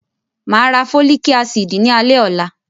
Màá ra Fólíkì ásíìdì ní alẹ́ ọ̀la.